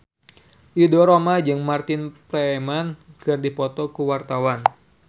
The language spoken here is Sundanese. Ridho Roma jeung Martin Freeman keur dipoto ku wartawan